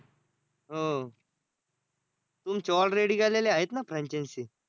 हो. तुमचे already गेलेल्या आहेत ना franchise